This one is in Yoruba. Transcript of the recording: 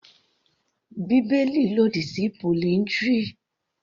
Bíbélì lòdì sí polyndry.